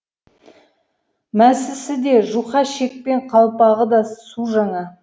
мәсісі де жұқа шекпен қалпағы да су жаңа